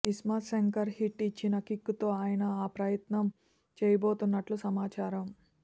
iSmart Shankar hit ఇచ్చిన kick తో ఆయన ఈ ప్రయత్నం చేయబోతున్నట్లు సమాచారం